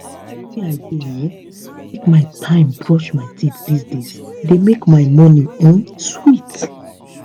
the way i dey um take my time brush my teeth these days dey make my morning um sweet